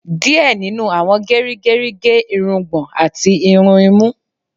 Díẹ̀ nínú àwọn gerigeri ge irungbọn àti irun imú